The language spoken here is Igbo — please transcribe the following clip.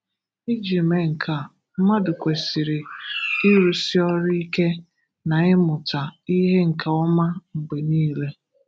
Iji mee nke a, mmadu kwesịrịrị ịrụsi ọrụ ike na ịmụta ihe nke oma mgbe niile.